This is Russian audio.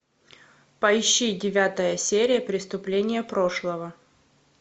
поищи девятая серия преступления прошлого